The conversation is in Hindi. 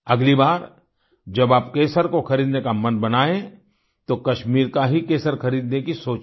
अगली बार जब आप केसर को खरीदने का मन बनायें तो कश्मीर का ही केसर खरीदने की सोचें